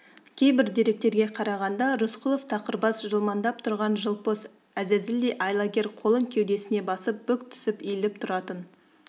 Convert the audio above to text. кейбір деректерге қарағанда рысқұлов тақыр бас жылмаңдап тұрған жылпос әзәзілдей айлакер қолын кеудесіне басып бүк түсіп иіліп тұратын